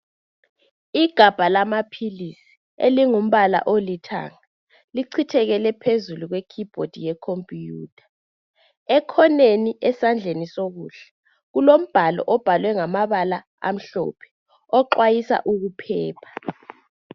Igabha lamaphilisi elingumbala olithanga lichithekele phezulu kwe "keyboard" ye"computer" ekhoneni esandleni sokudla kulombhalo obhalwe ngamabala amhlophe oxwayisa ukuphepha.